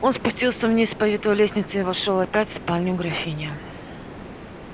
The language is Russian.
он спустился вниз по витой лестнице и вошёл опять в спальню графини